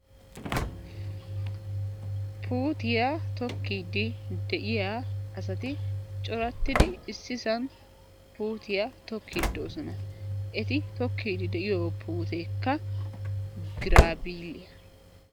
Puutiya tokkiiddi de7iya asati corattidi issisan puutiya tokkiiddi de7oosana. Eti tokkiiddi de7iyo puuteekka giraabiiliy.